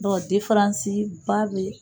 Dɔnku difaransi ba bɛ yen.